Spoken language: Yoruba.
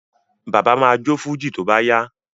Bàbá ma jó fújì tó bá yá